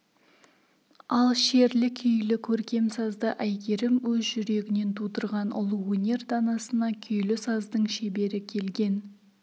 ал шерлі күйлі көркем сазды әйгерім өз жүрегінен тудырған ұлы өнер данасына күйлі саздың шебері келген